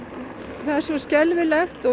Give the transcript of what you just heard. það er svo skelfilegt og